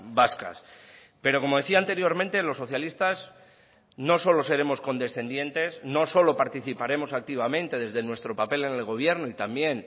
vascas pero como decía anteriormente los socialistas no solo seremos condescendientes no solo participaremos activamente desde nuestro papel en el gobierno y también